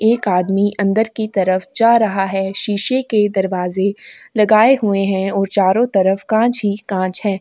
एक आदमी अंदर की तरफ जा रहा है शीशे के दरवाजे लगाए हुए हैं और चारों तरफ कांच ही कांच है।